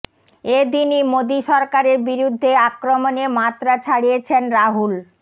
এ দিনই মোদী সরকারের বিরুদ্ধে আক্রমণে মাত্রা ছাড়িয়েছেন রাহুল